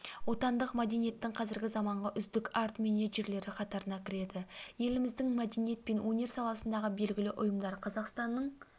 отандық мәдениеттің қазіргі заманғы үздік арт-менеджерлері қатарына кіреді еліміздің мәдениет пен өнер саласындағы белгілі ұйымдар қазақстанның